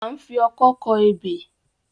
A ń fi ọkọ́ kọ ebè.